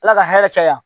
Ala ka hɛrɛ caya